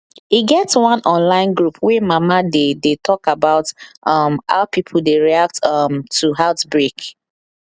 e get one online group wey mama dey dey talk about um how pipo dey react um to pause outbreak